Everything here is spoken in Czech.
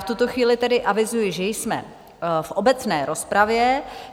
V tuto chvíli tedy avizuji, že jsme v obecné rozpravě.